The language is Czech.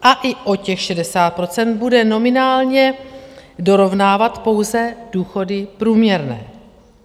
A i o těch 60 % bude nominálně dorovnávat pouze důchody průměrné.